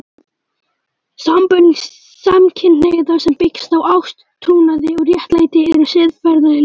Sambönd samkynhneigðra sem byggja á ást, trúnaði og réttlæti eru siðferðilega góð.